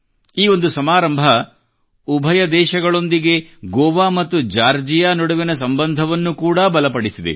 ಈ ಒಂದು ಸಮಾರಂಭವು ಉಭಯ ದೇಶಗಳೊಂದಿಗೆ ಗೋವಾ ಮತ್ತು ಜಾರ್ಜಿಯಾ ನಡುವಿನ ಸಂಬಂಧವನ್ನು ಕೂಡಾ ಬಲಪಡಿಸಿದೆ